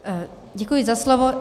Děkuji za slovo.